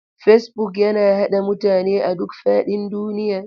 Facebook yana haɗa mutane a duk faɗin duniya.